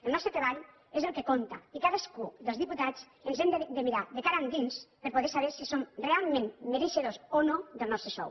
el nostre treball és el que compta i cadascú dels diputats ens hem de mirar de cara endins per a poder saber si som realment mereixedors o no del nostre sou